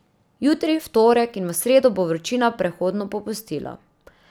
Jutri, v torek, in v sredo bo vročina prehodno popustila.